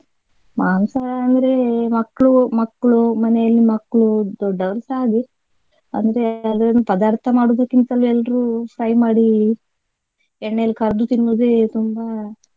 ಮಾಂಸ ಅಂದ್ರೆ ಮಕ್ಳು ಮಕ್ಳು ಮನೆಯಲ್ಲಿ ಮಕ್ಳು ದೊಡ್ಡವರು ಸಹ ಹಾಗೆ ಅಂದ್ರೆ ಅದನ್ನು ಪದಾರ್ಥ ಮಾಡುವುದಕ್ಕಿಂತಲೂ ಎಲ್ರೂ fry ಮಾಡಿ ಎಣ್ಣೆಯಲ್ಲಿ ಕರ್ದು ತಿನ್ನುದೇ ತುಂಬಾ.